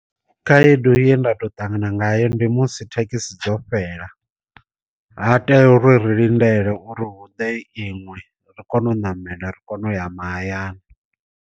Khaedu ye nda to ṱangana ngayo ndi musi thekhisi dzo fhela, ha tea uri ri lindele uri huḓe iṅwe ri kone u namela ri kone u ya mahayani.